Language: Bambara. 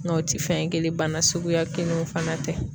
u ti fɛn kelen ye ,bana suguya kelenw fana tɛ.